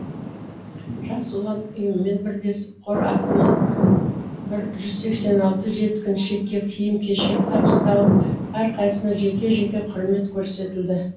жас ұлан ұйымымен бірлесіп қор атынан бір жүз сексен алты жеткіншекке киім кешек табысталып әрқайсысына жеке жеке құрмет көрсетілді